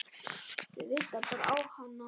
Þau vita bara að hann á